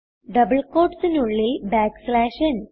double ക്യൂട്ട്സിന് ഉള്ളിൽ ന്